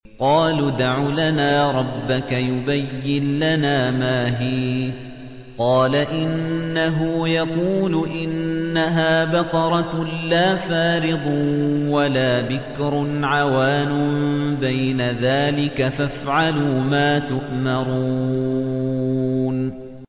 قَالُوا ادْعُ لَنَا رَبَّكَ يُبَيِّن لَّنَا مَا هِيَ ۚ قَالَ إِنَّهُ يَقُولُ إِنَّهَا بَقَرَةٌ لَّا فَارِضٌ وَلَا بِكْرٌ عَوَانٌ بَيْنَ ذَٰلِكَ ۖ فَافْعَلُوا مَا تُؤْمَرُونَ